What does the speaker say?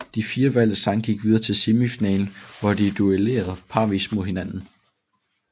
De fire valgte sange gik videre til semifinalen hvor de duellerede parvis mod hinanden